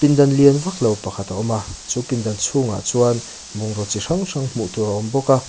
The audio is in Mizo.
pindan lian vaklo pakhat a awm a chu pindan chhungah chuan bungraw chi hrang hrang hmuh tur a awm bawk a.